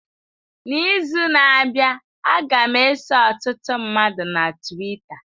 N'izu na-abịa, a ga m eso ọtụtụ mmadụ na Twita.